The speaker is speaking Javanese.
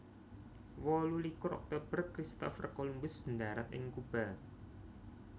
Wolu likur Oktober Christopher Columbus ndharat ing Kuba